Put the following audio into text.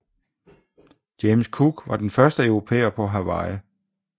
James Cook var den første europæer på Hawaii